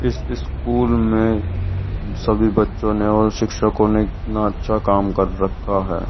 इस स्कूल में सभी बच्चों ने और शिक्षकों ने कितना अच्छा काम कर रखा है।